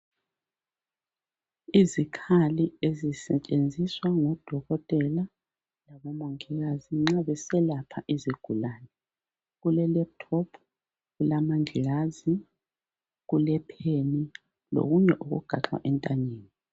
Izikhali ezisetshenziswa ngodokotela labo omongikazi nxa beselapha izigulane. Kule laptop, kulamangilazi, kulepen lokunye okugaxwa entanyeni.